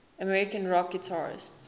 american rock guitarists